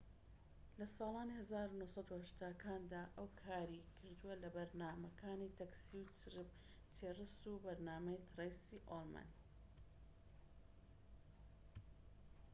لە ساڵانی ١٩٨٠کاندا ئەو کاری کردووە لە بەرنامەکانی تەکسی و چیرس و بەرنامەی ترەیسی ئوڵمن